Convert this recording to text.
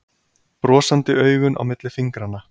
Brosandi augun á milli fingranna.